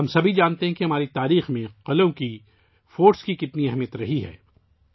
ہم سبھی اپنی تاریخ میں قلعوں کی اہمیت کو جانتے ہیں